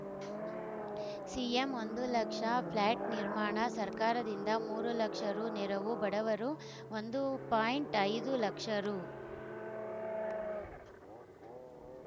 CM ಒಂದು lakh flat ನಿರ್ಮಾಣ ಸರ್ಕಾರದಿಂದ ಮೂರು ಲಕ್ಷ ರು ನೆರವು ಬಡವರು ಒಂದು ಪಾಯಿಂಟ್ ಐದು ಲಕ್ಷ ರು